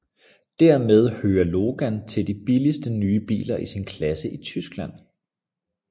Dermed hører Logan til de billigste nye biler i sin klasse i Tyskland